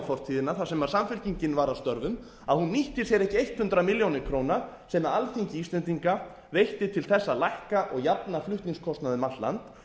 fortíðina þar sem samfylkingin var að störfum að hún nýtti sér ekki hundrað milljónir króna sem alþingi íslendinga veitti til þess að lækka og jafna flutningskostnað um allt land